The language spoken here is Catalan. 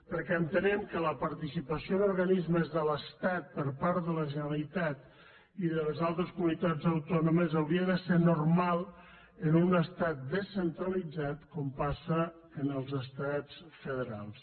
perquè entenem que la participació en organismes de l’estat per part de la generalitat i de les altres comunitats autònomes hauria de ser normal en un estat descentralitzat com passa en els estats federals